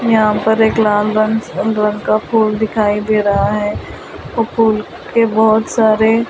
यहां पर एक लाल रंग रंग का फूल दिखाई दे रहा है वो फूल के बहुत सारे--